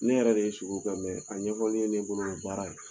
Ne yɛrɛ de ye sugo kɛ a ɲɛfɔli ye ne bolo baara ye.